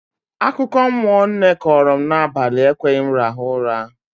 Akụkọmmụọ nne kọọrọ m n'abalị ekweghị m rahụ ụra